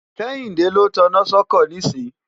kẹ́yìndé ló taná sọ́kọ̀ nísìn